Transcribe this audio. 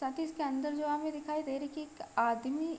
ताकि इसके अंदर जो आगे दिखाई दे रही है एक आदमी --